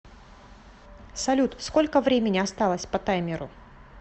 салют сколько времени осталось по таймеру